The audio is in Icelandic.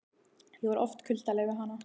Ég var oft kuldaleg við hana.